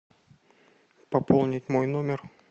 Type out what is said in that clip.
пополнить мой номер